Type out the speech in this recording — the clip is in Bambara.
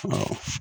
Awɔ